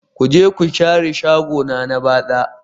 Ku je ku share shagona na batsa